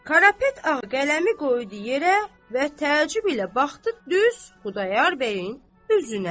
Karapet Ağa qələmi qoydu yerə və təəccüb ilə baxdı düz Xudayar bəyin üzünə.